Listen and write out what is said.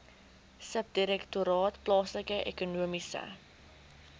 subdirektoraat plaaslike ekonomiese